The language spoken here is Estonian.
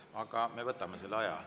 Aga me võtame selle aja.